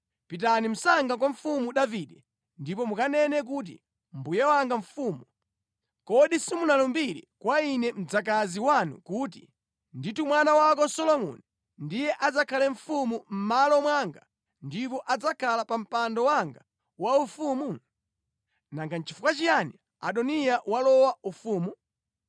Pitani msanga kwa Mfumu Davide ndipo mukanene kuti, ‘Mbuye wanga mfumu, kodi simunalumbire kwa ine mdzakazi wanu kuti, ‘Ndithu mwana wako Solomoni ndiye adzakhale mfumu mʼmalo mwanga, ndipo adzakhala pa mpando wanga waufumu?’ Nanga nʼchifukwa chiyani Adoniya walowa ufumu?’